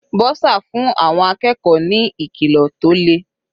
Bursar fún àwọn akẹ́kọ̀ọ́ ní ìkìlọ̀ tó le.